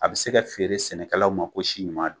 A be se ka feere sɛnɛkɛlaw ma ko simaa do